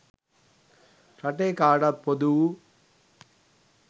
රටේ කාටත් පොදු වූ